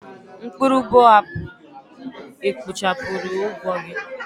Mkpụrụ boabab ekpochapụrụ ụgwọ gị?